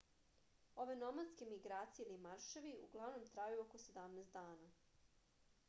ove nomadske migracije ili marševi uglavnom traju oko 17 dana